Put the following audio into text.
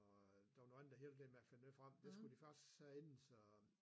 Og der var nogen andre hev lidt med at finde noget frem de skulle de faktisk herinde så